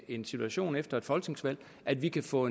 en situation efter et folketingsvalg at vi kan få